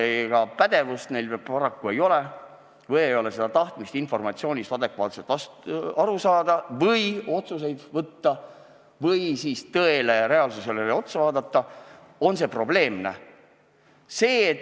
Kuna pädevust neil paraku ei ole või pole neil tahtmist informatsioonist adekvaatselt aru saada või otsuseid vastu võtta või tõele, reaalsusele otsa vaadata, siis on see probleem.